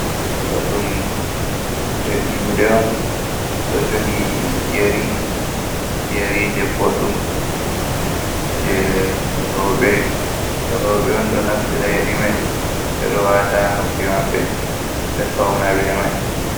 Ɗo ɗum juɗe on ɗo jogi yari. Yerije boɗɗum je rowɓe. Rowɓe on ɗo naftira yeri mai, ɓe ɗo wata noppi maɓbe, ɓe fauna be mai.